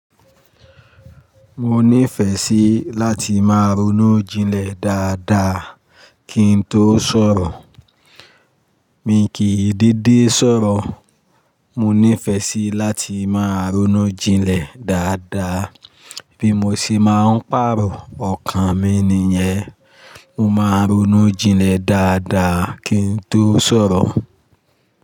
Mo ní ìfẹ́ sí láti máa ronú jinlẹ̀ dáadáa kí n tó sọ̀rọ̀. Mi kì í dede sọ̀rọ̀, mo nífẹ́ sí láti máa ronú jinlẹ̀ dáadáa bí mo ṣe máa ń pàrọ̀ ọkàn mi nìyẹn. Mo máa ronú jinlẹ̀ dáadáa kí n tó sọ̀rọ̀